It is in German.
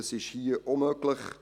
Dies ist hier auch möglich.